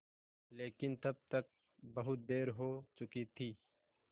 लेकिन तब तक बहुत देर हो चुकी थी